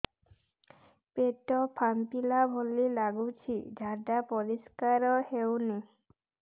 ପେଟ ଫମ୍ପେଇଲା ଭଳି ଲାଗୁଛି ଝାଡା ପରିସ୍କାର ହେଉନି